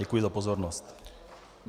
Děkuji za pozornost.